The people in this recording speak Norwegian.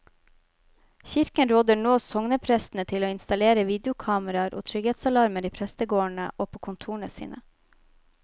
Kirken råder nå sogneprestene til å installere videokameraer og trygghetsalarmer i prestegårdene og på kontorene sine.